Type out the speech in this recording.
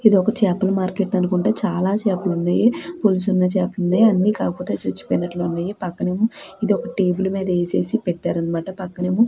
ఇదొక చేపల మార్కెట్ అనుకుంటా చాలా చేపలు వున్నాయి. పొలుసు ఉన్న చేపలు వున్నాయి అన్ని కాకపోతే చచ్చిపోయినట్లు ఉన్నాయీ పక్కనేమో ఇది ఒక టేబుల్ మీద వేసేసి పెట్టరనమాట పక్కనెమో --